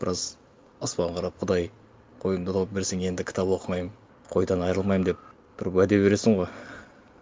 біраз аспанға қарап құдай қойымды тауып берсең енді кітап оқымаймын қойдан айрылмаймын деп тұрып уәде бересің ғой